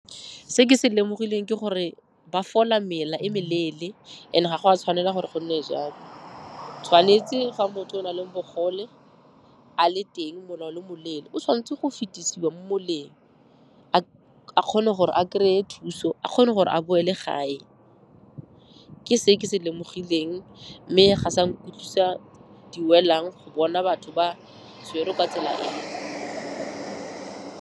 Se ke se lemogileng ke gore ba fola mela e meleele and-e ga go a tshwanela gore gonne jalo. Tshwanetse ga motho o nang le bogole a le teng mola o le moleele, o tshwanetse go fetisiwa mo moleng, a kgone gore a kry-e thuso, a kgone gore a boele gae. Ke se ke se lemogileng mme ga sa nkutlwisa di welang go bona batho ba tshwerwe ka tsela eo.